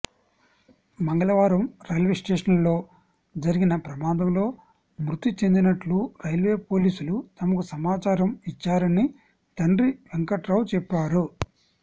మంగళవారం రైల్వేస్టేషన్లో జరిగిన ప్రమాదంలో మృతి చెందినట్లు రైల్వే పోలీసులు తమకు సమాచారం ఇచ్చారని తండ్రి వెంకటరావు చెప్పారు